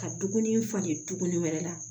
Ka dumuni falen tuguni wɛrɛ la